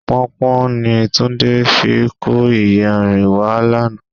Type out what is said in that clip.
Pọnpọ́n ni Túndé fi kó iyanrìn wá lánàá.